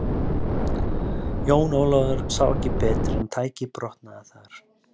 Jón Ólafur sá ekki betur en tækið brotnaði þar.